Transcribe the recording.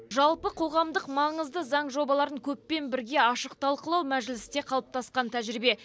жалпы қоғамдық маңызды заң жобаларын көппен бірге ашық талқылау мәжілісте қалыптасқан тәжірибе